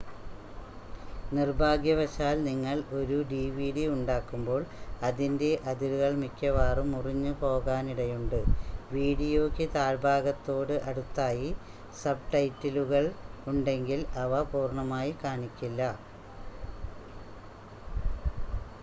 നിർഭാഗ്യവശാൽ നിങ്ങൾ ഒരു ഡിവിഡി ഉണ്ടാക്കുമ്പോൾ അതിൻ്റെ അതിരുകൾ മിക്കവാറും മുറിഞ്ഞുപോലാനിടയുണ്ട് വീഡിയോയ്ക്ക് താഴ്‌ഭാഗത്തോട് അടുത്തായി സബ്ടൈറ്റിലുകൾ ഉണ്ടെങ്കിൽ അവ പൂർണ്ണമായി കാണിക്കില്ല